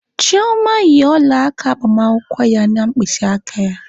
Chioma yi ọla aka agbamakwụkwọ ya na mkpịsị aka ya